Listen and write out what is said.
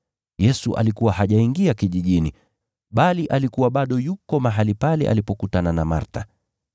Yesu alikuwa hajaingia kijijini, bali alikuwa bado yuko mahali pale alipokutana na Martha.